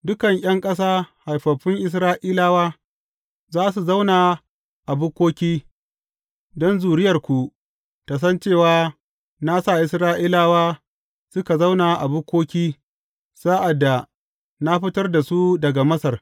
Dukan ’yan ƙasa haifaffun Isra’ilawa, za su zauna a bukkoki don zuriyarku tă san cewa na sa Isra’ilawa suka zauna a bukkoki sa’ad da na fitar da su daga Masar.